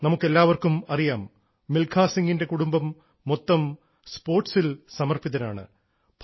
നമുക്കെല്ലാവർക്കും അറിയാം മിൽഖാ സിംഗിൻറെ കുടുംബം സ്പോർട്സിൽ സമർപ്പിതരാണ്